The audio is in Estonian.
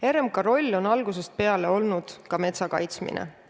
RMK roll on algusest peale olnud ka metsa kaitsmine.